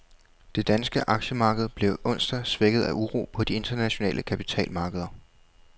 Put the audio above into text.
Det danske aktiemarked blev onsdag svækket af uro på de internationale kapitalmarkeder.